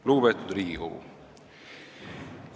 Lugupeetud Riigikogu!